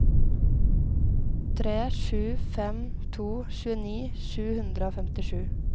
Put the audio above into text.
tre sju fem to tjueni sju hundre og femtisju